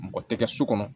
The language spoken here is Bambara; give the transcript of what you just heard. Mɔgɔ tɛ kɛ so kɔnɔ